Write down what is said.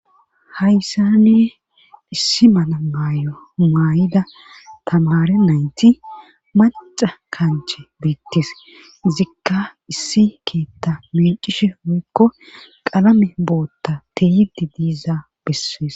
Hayssani issi mana maayo maay'ida tamare nayti maca kanche biittis zikka issi keetta mincishe hoykko qalame bootta teyidi diiza bessees.